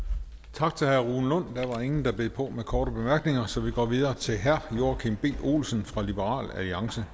tak til herre rune lund der var ingen der bed på med korte bemærkninger så vi går videre til herre joachim b olsen fra liberal alliance